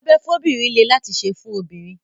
ìdábẹ́ fóbìnrin lé láti ṣe fún obìnrin.